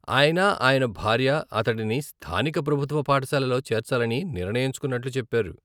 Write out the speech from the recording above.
ఆయన, ఆయన భార్య అతడిని స్థానిక ప్రభుత్వ పాఠశాలలో చేర్చాలని నిర్ణయించుకున్నట్లు చెప్పారు.